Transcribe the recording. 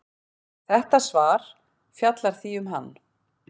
Þetta svar fjallar því um hann.